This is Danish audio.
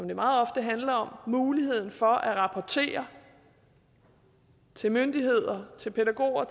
jo meget ofte handler om mulighed for fortroligt at rapportere til myndigheder pædagoger